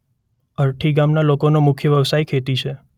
અરઠી ગામના લોકોનો મુખ્ય વ્યવસાય ખેતી છે.